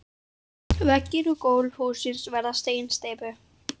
Veggir og gólf hússins verða af steinsteypu.